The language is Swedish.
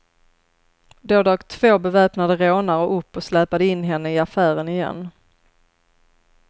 Då dök två beväpnade rånare upp och släpade in henne i affären igen.